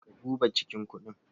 Ka duba cikin kundin?